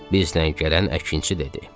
Biz Lənkəran əkinçi dedi.